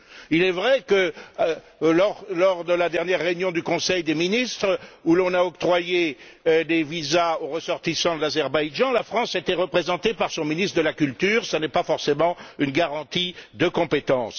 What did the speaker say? Il est vrai que, lors de la dernière réunion du Conseil des ministres où l'on a octroyé des visas aux ressortissants de l'Azerbaïdjan, la France était représentée par son ministre de la culture. Ce n'est pas forcément une garantie de compétence.